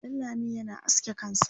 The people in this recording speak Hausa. Danlami yana aske kansa